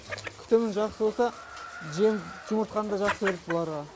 күтімі жақсы болса жем жұмыртқаны да жақсы береді бұлар да